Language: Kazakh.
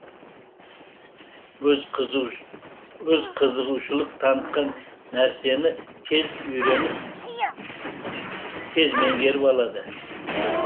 өз қызығушылық танытқан нәрсені тез үйреніп тез меңгеріп алады